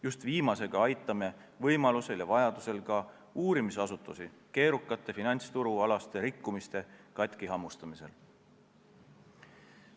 Just viimasega aitame võimalusel ja vajadusel ka uurimisasutusi keerukate finantsturualaste rikkumiste katkihammustamisel.